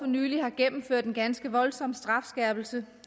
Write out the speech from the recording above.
nylig har gennemført en ganske voldsom strafskærpelse